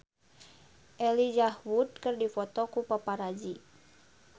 Elijah Wood dipoto ku paparazi